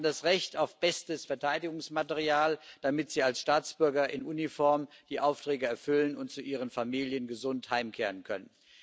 Sie haben das Recht auf bestes Verteidigungsmaterial, damit sie als Staatsbürger in Uniform die Aufträge erfüllen und gesund zu ihren Familien heimkehren können.